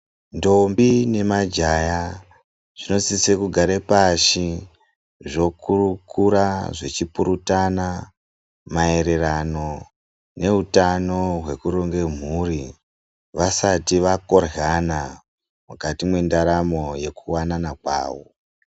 Ndombi nemajaya zvinositse kugara pashi zvokurukura ,zvichipurutana maererano neutano hwekuronge mhuri vasati vakoryana mukati mendaramo yekuwanana kwazvo.